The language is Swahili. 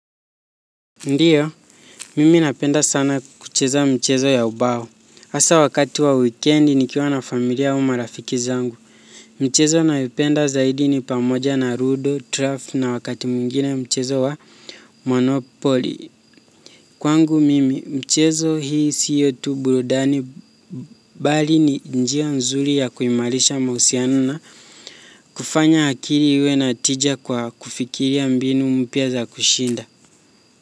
Ndio, mimi napenda sana kucheza mchezo ya ubao. Hasa wakati wa wikendi nikiwa na familia au marafiki zangu. Mchezo nayoipenda zaidi ni pamoja na ludo, draft na wakati mwingine mchezo wa monopoli. Kwangu mimi, mchezo hii sio tu burudani bali ni njia nzuri ya kuimarisha mahusiano na kufanya akili iwe na tija kwa kufikiria mbinu mpya za kushinda.